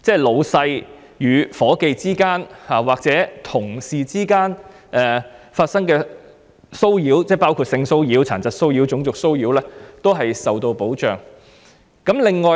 上司與下屬或同事之間的騷擾，包括性騷擾、殘疾騷擾及種族騷擾皆一律受到保障。